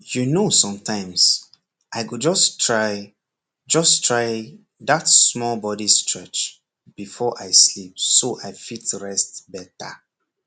you know sometimes i go just try just try that small body stretch before i sleep so i fit rest better